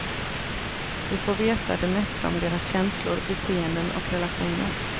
Vi får veta det mesta om deras känslor, beteenden och relationer.